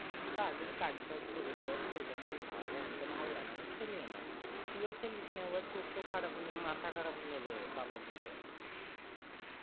সারাদিন কাজটাজ করে অইয়া খেলতেও মন হয় হয়ে ওইয়া আমাকে ভালো লাগেনা আমি খেলিয়েনা তুই ও খেলেসিসনা চোখ টোক খারাপ হয়েযাবে, মাথা খারাপ হয়ে যাবে বাবা বুলে